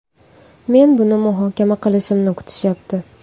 Men buni muhokama qilishimni kutishyapti.